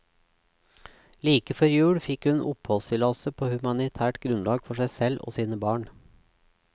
Like før jul fikk hun oppholdstillatelse på humanitært grunnlag for seg og sine barn.